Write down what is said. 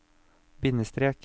bindestrek